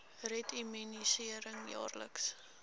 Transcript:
red immunisering jaarliks